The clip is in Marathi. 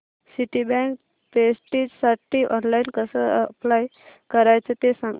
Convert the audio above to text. सिटीबँक प्रेस्टिजसाठी ऑनलाइन कसं अप्लाय करायचं ते सांग